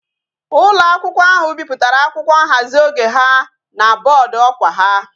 Ulo akwukwo ahu biputara akwukwo nhazi oge ha na boodu okwa ha